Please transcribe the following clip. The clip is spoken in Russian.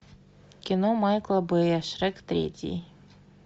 кино майкла бэя шрек третий